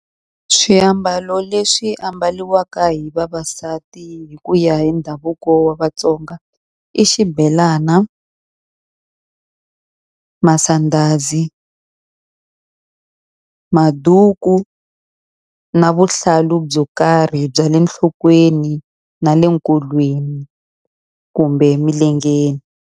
Swiambalo leswi ambariwaka hi vavasati hi ku ya hi ndhavuko wa Vatsonga i xibelana, masandhazi, maduku, na vuhlalu byo karhi bya le enhlokweni na le nkolweni, kumbe emilengeni.